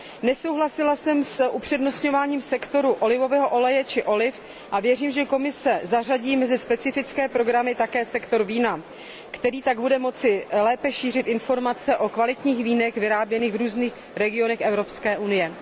Nesouhlasila jsem s upřednostňováním sektoru olivového oleje či oliv a věřím, že Komise zařadí mezi specifické programy také sektor vína, který tak bude moci lépe šířit informace o kvalitních vínech vyráběných v různých regionech Evropské unie.